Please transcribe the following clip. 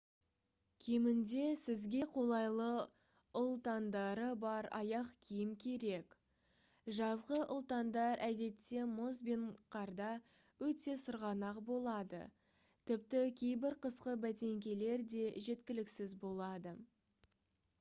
кемінде сізге қолайлы ұлтандары бар аяқ киім керек жазғы ұлтандар әдетте мұз бен қарда өте сырғанақ болады тіпті кейбір қысқы бәтеңкелер де жеткіліксіз болады